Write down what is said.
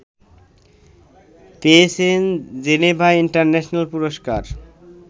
পেয়েছেন Geneva international পুরস্কার